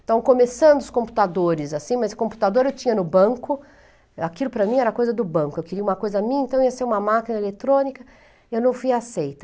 Então, começando os computadores assim, mas computador eu tinha no banco, aquilo para mim era coisa do banco, eu queria uma coisa minha, então ia ser uma máquina eletrônica, e eu não fui aceita.